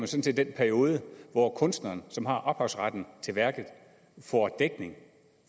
set den periode hvor kunstneren som har ophavsretten til værket får dækning